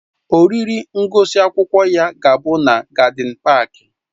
Oriri ngụsị akwụkwọ ya ga-abụ na gádịn páák